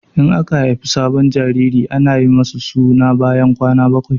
In aka haifi sabon jariri ana yi masa suna bayan kwana bakwai.